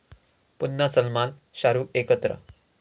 पुन्हा सलमान शाहरूख एकत्र